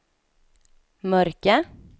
mörka